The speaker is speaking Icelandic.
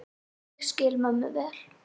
Ég skil mömmu vel.